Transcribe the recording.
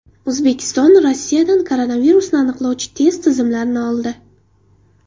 O‘zbekiston Rossiyadan koronavirusni aniqlovchi test tizimlarini oldi .